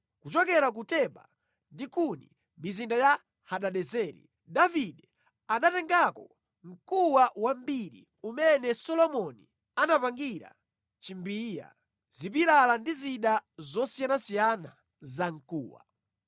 Kuchokera ku Teba ndi Kuni, mizinda ya Hadadezeri, Davide anatengako mkuwa wambiri umene Solomoni anapangira chimbiya, zipilala ndi zida zosiyanasiyana zamkuwa.